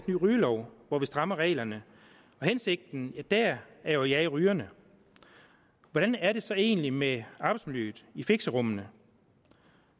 ny rygelov hvor vi strammer reglerne og hensigten der er at jage rygerne hvordan er det så egentlig med arbejdsmiljøet i fixerummene